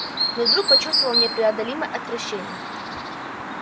но вдруг почувствовал непреодолимое отвращение